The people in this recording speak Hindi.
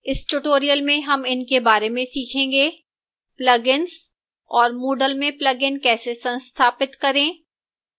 इस tutorial में how in बारे में सीखेंगे: plugins और moodle में plugin कैसे संस्थापित करें